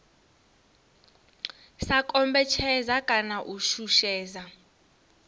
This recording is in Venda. sa kombetshedza kana u shushedza